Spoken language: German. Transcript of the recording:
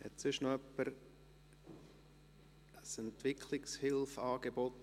Hat sonst noch jemand ein Entwicklungshilfe-Angebot?